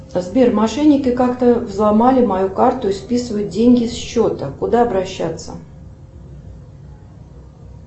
сбер мошенники как то взломали мою карту и списывают деньги с счета куда обращаться